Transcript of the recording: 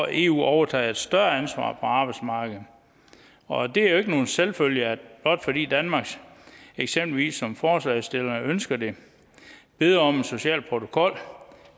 eu overtager et større ansvar på arbejdsmarkedet og det er jo ikke nogen selvfølge blot fordi danmark eksempelvis som forslagsstillerne ønsker det beder om en social protokol